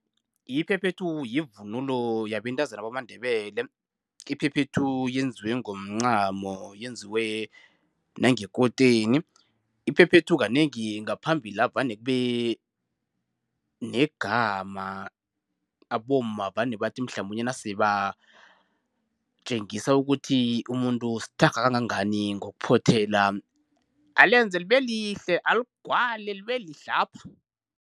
Iphephethu yivunulo yabentazana bamaNdebele. Iphephethu yenziwe ngomncamo, yenziwe nangekoteni. Iphephethu kanengi ngaphambila vane kube negama. Abomma vane bathi mhlamunye nasebatjengisa ukuthi umuntu sithakgha kangangani ngokuphothela. Alenze libe lihle, aligwale libe lihlelapha.